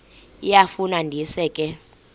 iyafu ndisa ke